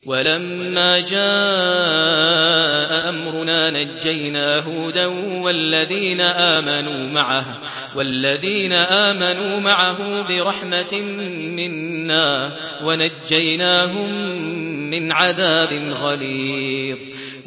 وَلَمَّا جَاءَ أَمْرُنَا نَجَّيْنَا هُودًا وَالَّذِينَ آمَنُوا مَعَهُ بِرَحْمَةٍ مِّنَّا وَنَجَّيْنَاهُم مِّنْ عَذَابٍ غَلِيظٍ